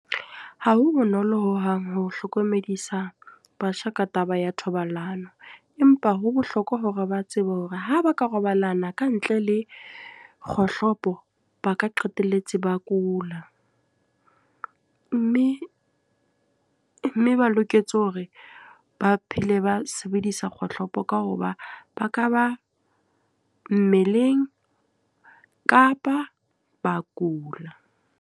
Ha ho bonolo hohang ho hlokomedisa batjha ka taba ya thobalano. Empa ho bohlokwa hore ba tsebe hore ha ba ka robalana ka ntle le kgohlopo, ba ka qetelletse ba kula. Mme mme ba loketse hore ba phele ba sebedisa kgohlopo ka hoba ba ka ba mmeleng, kapa ba kula.